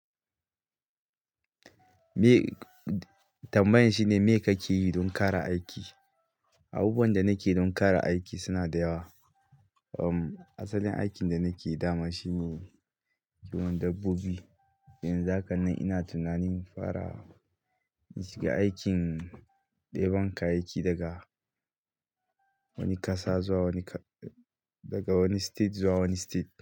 Me tambayan shine me kake yi don ƙara aiki? Abubuwan da nake don ƙara aiki suna da yawa. Um, asalin aikin da nake dama shine kiwon dabbobi. Yanzu haka nan ina tunanin fara shiga aikin ɗeban kayayyaki daga wani ƙasa zuwa wani ƙa-- daga wani state zuwa wani state.